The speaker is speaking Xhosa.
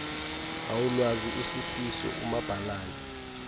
awulwazi usifiso umabhalana